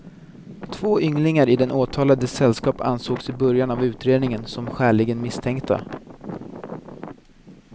Två ynglingar i den åtalades sällskap ansågs i början av utredningen som skäligen misstänkta.